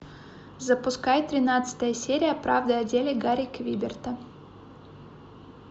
запускай тринадцатая серия правда о деле гарри квеберта